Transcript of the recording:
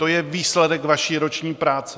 To je výsledek vaší roční práce.